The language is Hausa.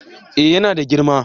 eh yana da girma